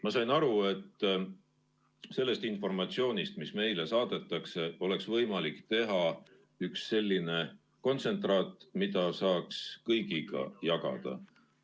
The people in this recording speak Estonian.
Ma sain aru, et sellest informatsioonist, mis meile saadetakse, oleks võimalik teha üks selline kontsentraat, mida saaks kõigiga jagada.